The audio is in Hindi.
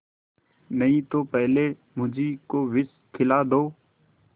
नहीं तो पहले मुझी को विष खिला दो